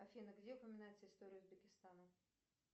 афина где упоминается история узбекистана